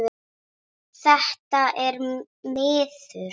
Þetta er miður.